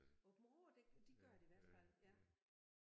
Aabenraa det de gør det i hvert fald ja